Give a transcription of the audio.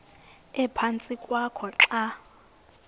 ephantsi kwakho xa